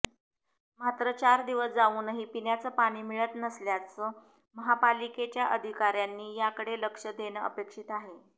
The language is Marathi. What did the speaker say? मात्र चार दिवस जाऊनही पिण्याचं पाणी मिळत नसल्यास महापालिकेच्या अधिकाऱ्यांनी याकडे लक्ष देणं अपेक्षित आहे